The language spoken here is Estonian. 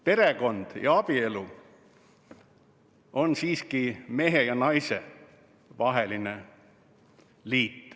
Perekond ja abielu on siiski mehe ja naise vaheline liit.